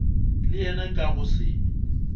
le yena ka go se